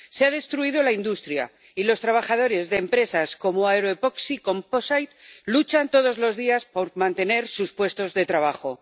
Se ha destruido la industria y los trabajadores de empresas como Aeroepoxy Composites luchan todos los días por mantener sus puestos de trabajo.